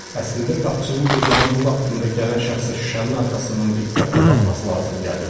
Əslində qapıçının gecənin bu vaxtında gələn şəxsə şüşənin arxasından diqqətlə baxması lazım gəlirdi.